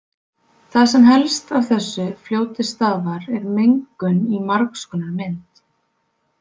Það sem helst af þessu fljóti stafar er mengun í margs konar mynd.